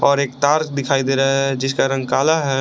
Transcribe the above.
और एक तार दिखाई दे रहा है जिसका रंग काला है।